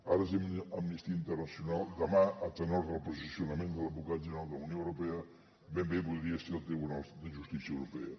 ara és amnistia internacional demà a tenor del posicionament de l’advocat general de la unió europea ben bé podria ser el tribunal de justícia europea